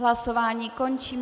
Hlasování končím.